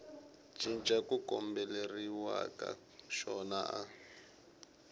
cinca ku kombeleriwaka xona a